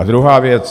A druhá věc.